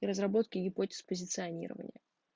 и разработки гипотез позиционирования